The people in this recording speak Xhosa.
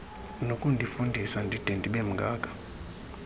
nokundifundisa ndide ndibemngaka